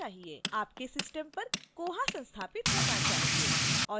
आपके system पर koha संस्थापित होना चाहिए